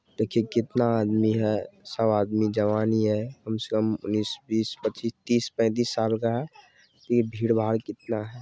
देखिए कितना आदमी है सब आदमी जवान ही है कम से कम उन्नीस बीस पच्चीस तीस पैंतीस साल का है इ भीड़-भाड़ कितना है।